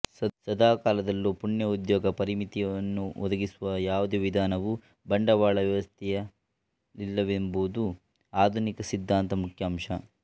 ಸದಾಕಾಲದಲ್ಲೂ ಪೂರ್ಣ ಉದ್ಯೋಗ ಪರಿಮಿತಿಯನ್ನೊದಗಿಸುವ ಯಾವುದೇ ವಿಧಾನವೂ ಬಂಡವಾಳವ್ಯವಸ್ಥೆಯಲ್ಲಿಲ್ಲವೆಂಬುದೇ ಆಧುನಿಕ ಸಿದ್ಧಾಂತದ ಮುಖ್ಯ ಅಂಶ